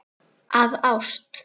Af ást.